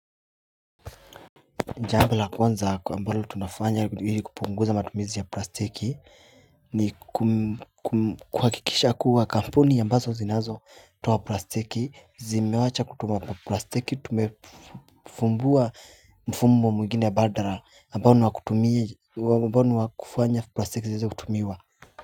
Jambo la kwanza kwa ambalo tunafanya ili kupunguza matumizi ya plastiki ni kuhakikisha kuwa kampuni ya ambazo zinazo toa plastiki zimewacha kutuma plastiki tumefumbua mfumo mwengine ya badala ambalo wakutumie ambalo wakufanya plastiki zisieze kutumiwa.